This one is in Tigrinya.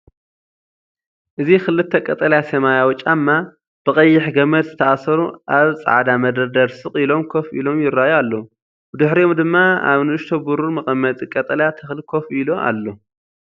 እዚ ክልተ ቀጠልያ-ሰማያዊ ጫማ፡ ብቐይሕ ገመድ ዝተኣስሩ፡ ኣብ ጻዕዳ መደርደሪ ስቕ ኢሎም ኮፍ ኢሎም ይረኣዩ ኣለው። ብድሕሪኦም ድማ፡ ኣብ ንእሽቶ ብሩር መቐመጢ ቀጠልያ ተኽሊ ኮፍ ኢሉ ኣሎ።